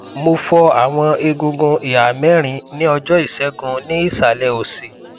mo fọ awọn egungun iha mẹrin ni ọjọisegun ni isalẹ osi